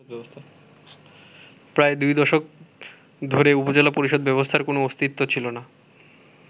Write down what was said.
প্রায় দুই দশক ধরে উপজেলা পরিষদ ব্যবস্থার কোন অস্তিত্ব ছিল না।